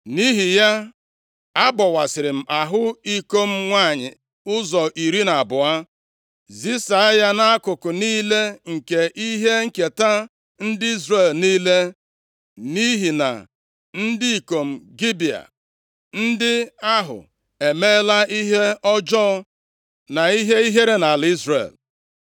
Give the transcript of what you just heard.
Nʼihi ya, abọwasịrị m ahụ iko m nwanyị ụzọ iri na abụọ, zisa ya nʼakụkụ niile nke ihe nketa ndị Izrel niile nʼihi na ndị ikom Gibea ndị ahụ emeela ihe ọjọọ na ihe ihere nʼala Izrel.